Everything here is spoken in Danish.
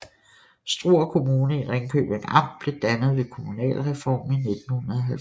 Struer Kommune i Ringkøbing Amt blev dannet ved kommunalreformen i 1970